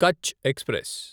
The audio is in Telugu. కచ్ ఎక్స్ప్రెస్